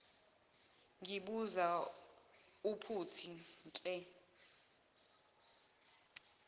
ngibuza uphuthi nhe